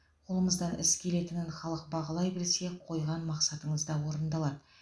қолымыздан іс келетінін халық бағалай білсе қойған мақсатыңыз да орындалады